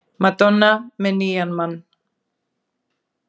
Madonna með nýjan mann